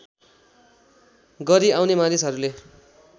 गरी आउने मानिसहरूले